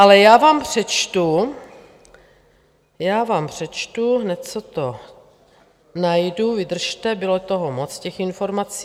Ale já vám přečtu... já vám přečtu... hned, co to najdu, vydržte, bylo toho moc, těch informací.